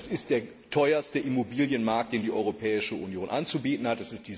Das ist der teuerste Immobilienmarkt, den die Europäische Union anzubieten hat.